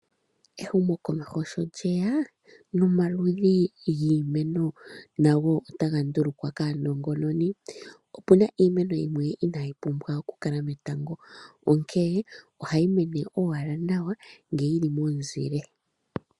Ehumokomeho sho lye ya nomaludhi giimeno otaga ndulukwa kaanongononi. Opu na iimano yimwe inayi pumbwa okukala metango, onkene ohayi mene owala nawa ngele yi li momuzile.